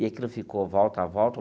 E aquilo ficou volta volta.